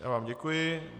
Já vám děkuji.